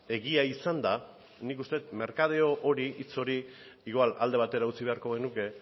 egia izanda nik uste det merkadeo hori hitz hori igual alde batera utzi beharko genuke